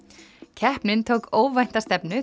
keppnin tók óvænta stefnu